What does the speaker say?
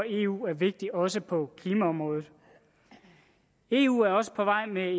eu er vigtigt også på klimaområdet eu er også på vej med